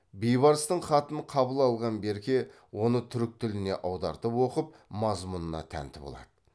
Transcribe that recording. бейбарыстың хатын қабыл алған берке оны түрік тіліне аудартып оқып мазмұнына тәнті болады